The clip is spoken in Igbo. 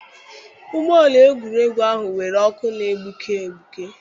Ụgbọ ala egwuregwu ahụ nwere ọkụ na-egbuke egbuke.